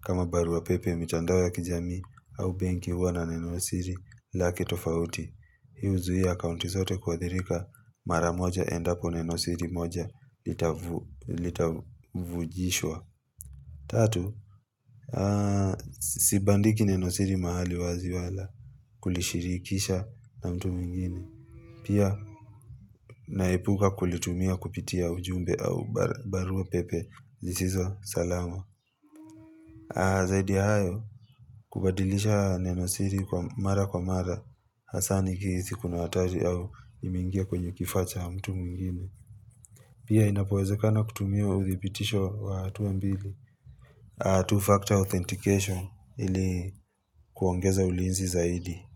kama barua pepe mitandao ya kijamii au benki huwa na nenosiri lake tofauti. Hii huzuia akaunti zote kuadhirika mara moja endapo nenosiri moja litavujishwa. Tatu, sibandiki nenosiri mahali wazi wala kulishirikisha na mtu mwingine. Pia, naepuka kulitumia kupitia ujumbe au barua pepe zisizo salama. Zaidi ya hayo, kubadilisha nenosiri mara kwa mara, hasa nikihisi kuna hatari au imeingia kwenye kifaa cha mtu mwingine. Pia inapowezekana kutumia uthibitisho wa hatua mbili, two-factor authentication ili kuongeza ulinzi zaidi.